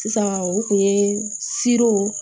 Sisan o kun ye